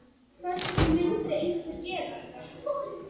Hvers vegna myndi einhver gera þetta?